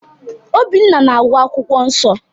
Obinna na-agụ akwụkwọ nsọ.